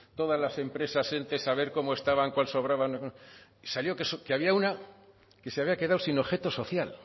todas las empresas entes a ver cómo estaban cuál sobraba salió que había una que se había quedado sin objeto social le